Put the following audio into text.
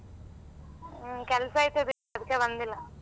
ಹ್ಮ ಕೆಲ್ಸ ಇತ್ತು ಅದಿಕ್ಕೆ ಬಂದಿಲ್ಲ.